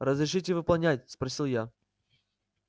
разрешите выполнять спросил я